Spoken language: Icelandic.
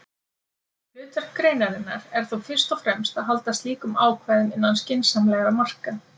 Hlutverk greinarinnar er þó fyrst og fremst að halda slíkum ákvæðum innan skynsamlegra marka.